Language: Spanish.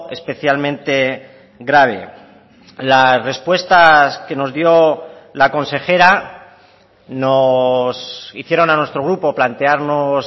especialmente grave las respuestas que nos dio la consejera nos hicieron a nuestro grupo plantearnos